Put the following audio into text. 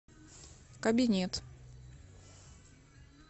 кабинет